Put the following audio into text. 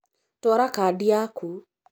Twara Kandi yaku